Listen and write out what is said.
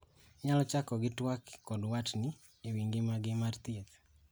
Inyalo chako gi twak kod watni e wi ngima gi mar thieth.